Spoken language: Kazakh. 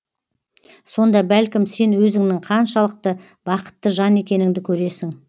сонда бәлкім сен өзіңнің қаншалықты бақытты жан екеніңді көресің